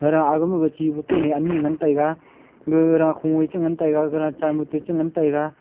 ara agey ma chi boton ne ani ngan taiga gara khung nge che ngan taiga gara chahmut te che ngan taiga.